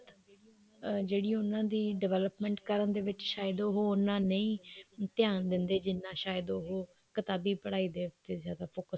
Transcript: ਜਿਹੜੀ ਉਹਨਾ ਦੀ development ਕਰਨ ਦੇ ਵਿੱਚ ਸ਼ਾਇਦ ਉਹ ਉੰਨਾ ਨਹੀਂ ਧਿਆਨ ਦਿੰਦਾ ਜਿੰਨਾ ਸ਼ਾਇਦ ਉਹ ਕਿਤਾਬੀ ਪੜਾਈ ਦੇ ਉੱਤੇ ਜਿਆਦਾ focus